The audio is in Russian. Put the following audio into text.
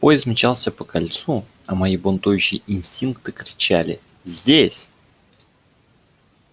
поезд мчался по кольцу а мои бунтующие инстинкты кричали здесь